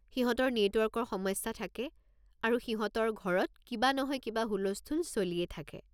সিহঁতৰ নেটৱৰ্কৰ সমস্যা থাকে আৰু সিহঁতৰ ঘৰত কিবা নহয় কিবা হুলস্থূল চলিয়ে থাকে।